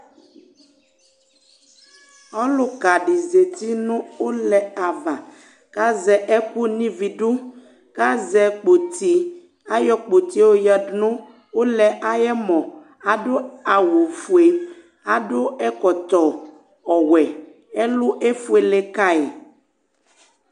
Ɔlukadi zéti nu ulɛ ka ava Kazɛ ɛku nividu, kazɛ kpoti, ayɔ kpoti yoyadunu ulɛ ayɛmɔn Adu awu fué, adu ɛkɔtɔ ɔwɛ, ɛlu éfuélékayi